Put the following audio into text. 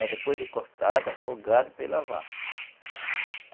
É, depois de cortada, afogada para ir lavar.